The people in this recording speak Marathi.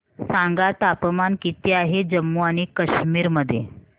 सांगा तापमान किती आहे जम्मू आणि कश्मीर मध्ये